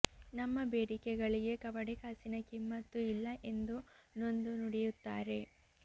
ನಮ್ಮ ಬೇಡಿಕೆಗಳಿಗೆ ಕವಡೆ ಕಾಸಿನ ಕಿಮ್ಮತ್ತು ಇಲ್ಲ ಎಂದು ನೊಂದು ನುಡಿಯುತ್ತಾರೆ